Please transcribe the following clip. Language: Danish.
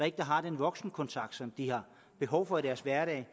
ikke har den voksenkontakt som de har behov for i deres hverdag